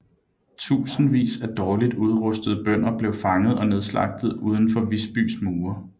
Tusindvis af dårligt udrustede bønder blev fanget og nedslagtet uden for Visbys mure